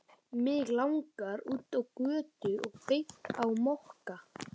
Mig langaði út á götu og beint á Mokka.